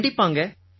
கண்டிப்பாங்க